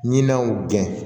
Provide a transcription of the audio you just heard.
Ɲinanw gɛn